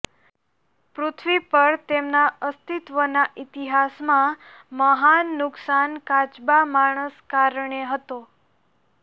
પૃથ્વી પર તેમના અસ્તિત્વ ના ઈતિહાસ માં મહાન નુકસાન કાચબા માણસ કારણે હતો